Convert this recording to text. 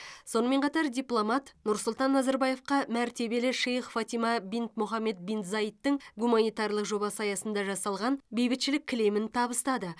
сонымен қатар дипломат нұрсұлтан назарбаевқа мәртебелі шейх фатима бинт мұхаммед бин заидтің гуманитарлық жобасы аясында жасалған бейбітшілік кілемін табыстады